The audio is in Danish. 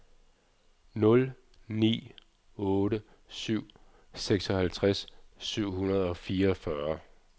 nul ni otte syv seksoghalvtreds syv hundrede og fireogfyrre